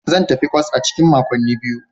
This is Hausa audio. Zan tafi kwas a cikin makonni biyu.